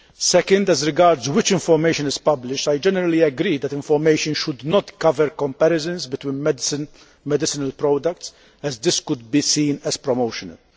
Secondly, as regards what information is published, I generally agree that information should not cover comparisons between medicinal products, as this could be seen as promotional.